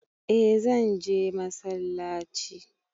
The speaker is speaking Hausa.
Eh zanje masallaci